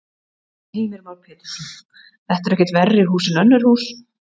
Heimir Már Pétursson: Þetta eru ekkert verri hús en önnur hús?